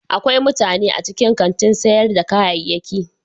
Akwai mutane a cikin kantin sayar da kayayyaki.